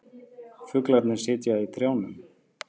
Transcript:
Fuglarnir sitja í trjánum.